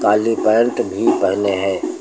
काली pant भी पहने हैं।